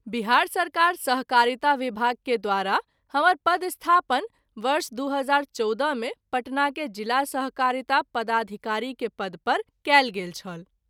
बिहार सरकार सहकारिता विभाग के द्वारा हमर पदस्थापन वर्ष २०१४ मे पटना के ज़िला सहकारिता पदाधिकारी के पद पर कएल गेल छल।